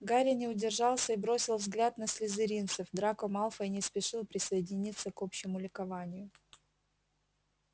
гарри не удержался и бросил взгляд на слизеринцев драко малфой не спешил присоединиться к общему ликованию